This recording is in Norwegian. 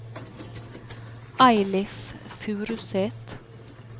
Eilif Furuseth